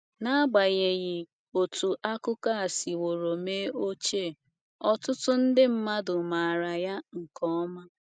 N’agbanyeghị otú akụkọ a siworo mee ochie, ọtụtụ nde mmadụ maara ya nke ọma.